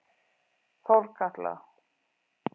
Þórkatla